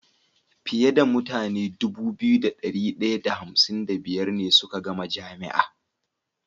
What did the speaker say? Fiye da mutane Dubu biyu da dari daya da hamsin da biyar ne suka gama jami'a